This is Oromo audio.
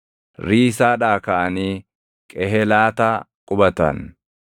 Riisaadhaa kaʼanii Qehelaataa qubatan.